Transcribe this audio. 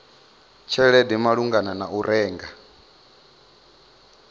tshelede malugana na u renga